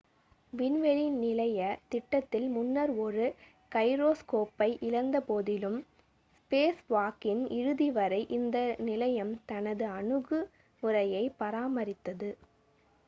விண்வெளி நிலைய திட்டத்தில் முன்னர் ஒரு கைரோஸ்கோப்பை இழந்தபோதிலும் ஸ்பேஸ்வாக்கின் இறுதி வரை இந்த நிலையம் தனது அணுகுமுறையைப் பராமரித்தது